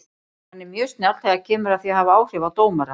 Hann er mjög snjall þegar kemur að því að hafa áhrif á dómara.